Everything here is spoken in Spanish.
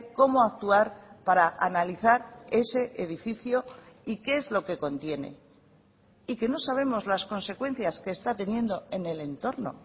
cómo actuar para analizar ese edificio y qué es lo que contiene y que no sabemos las consecuencias que está teniendo en el entorno